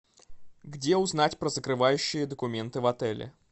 где узнать про закрывающие документы в отеле